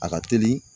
A ka teli